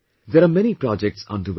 There are many projects under way